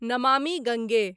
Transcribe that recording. Namami Gange